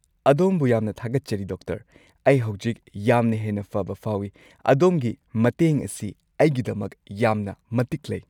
ꯑꯗꯣꯝꯕꯨ ꯌꯥꯝꯅ ꯊꯥꯒꯠꯆꯔꯤ, ꯗꯣꯛꯇꯔ! ꯑꯩ ꯍꯧꯖꯤꯛ ꯌꯥꯝꯅ ꯍꯦꯟꯅ ꯐꯕ ꯐꯥꯎꯏ꯫ ꯑꯗꯣꯝꯒꯤ ꯃꯇꯦꯡ ꯑꯁꯤ ꯑꯩꯒꯤꯗꯃꯛ ꯌꯥꯝꯅ ꯃꯇꯤꯛ ꯂꯩ꯫